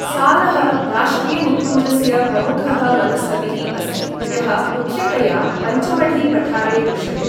सालः राष्ट्रियनिकुञ्जस्य प्रमुखः वनस्पतिः अस्ति यः मुख्यतया पचमढ़ीपठारे दृश्यते ।